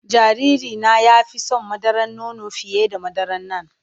Jariri na ya fi son madaran nono fiye da madaran nan.